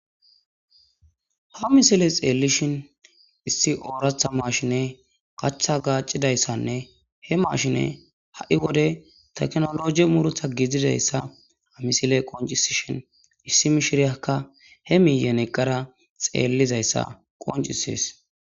Ha misile xeellishin issi ooratha mashine gacha gaaccidayssanne he mashine ha'i wode teknologi muretha giididayssa amisile qoncisishin issi mishiriyakka he miiyen eqqara xeellizayssa qoncisees.